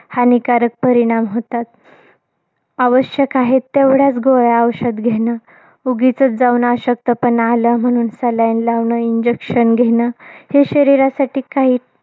हानिकारक परिणाम होतात आवश्यक आहे तेवढ्याच गोळ्या, औषधं घेणं. उगीचच जाऊन अशक्तपणा आला म्हणून seline लावणं, injection घेणं. हे शरीरासाठी काही